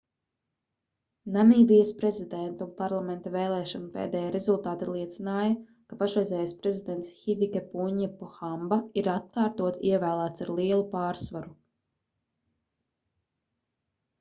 namībijas prezidenta un parlamenta vēlēšanu pēdējie rezultāti liecināja ka pašreizējais prezidents hifikepunje pohamba ir atkārtoti ievēlēts ar lielu pārsvaru